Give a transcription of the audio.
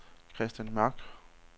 Kristian Mørk